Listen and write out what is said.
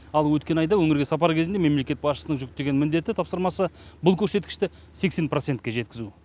ал өткен айда өңірге сапары кезіндегі мемлекет басшысының жүктеген міндеті тапсырмасы бұл көрсеткішті сексен процентке жеткізу